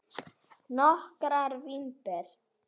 Nokkrar vínber